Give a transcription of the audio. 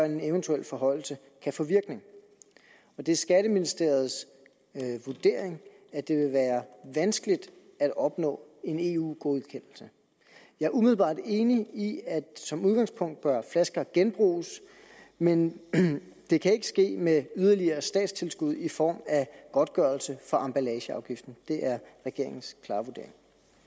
en eventuel forhøjelse kan få virkning det er skatteministeriets vurdering at det vil være vanskeligt at opnå en eu godkendelse jeg er umiddelbart enig i at som udgangspunkt bør flasker genbruges men det kan ikke ske med yderligere statstilskud i form af godtgørelse for emballageafgiften det er regeringens klare vurdering